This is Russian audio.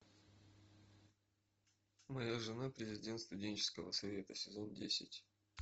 моя жена президент студенческого совета сезон десять